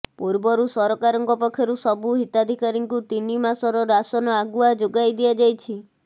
ପୂର୍ବରୁ ସରକାରଙ୍କ ପକ୍ଷରୁ ସବୁ ହିତାଧିକାରୀଙ୍କୁ ତିନି ମାସର ରାସନ ଆଗୁଆ ଯୋଗାଇ ଦିଆଯାଇଛି